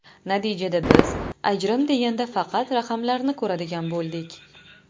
Natijada biz ajrim deganda faqat raqamlarni ko‘radigan bo‘ldik.